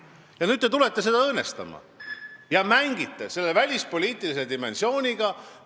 Ja nüüd te tulete seda õõnestama ja mängite selle välispoliitilise dimensiooniga!